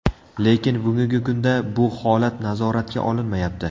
Lekin bugungi kunda bu holat nazoratga olinmayapti.